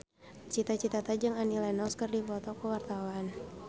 Cita Citata jeung Annie Lenox keur dipoto ku wartawan